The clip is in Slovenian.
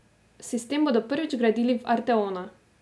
Sistem bodo prvič vgradili v arteona.